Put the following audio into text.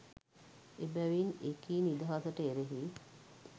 එබැවින් එකී නිදහසට එරෙහි